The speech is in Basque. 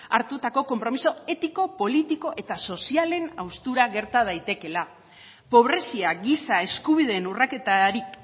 hartutako konpromiso etiko politiko eta sozialen haustura gerta daitekeela pobrezia giza eskubideen urraketarik